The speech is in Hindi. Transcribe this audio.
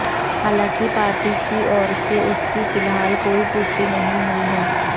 हालांकि पार्टी की ओर से इसकी फिलहाल कोई पुष्टि नहीं हुई है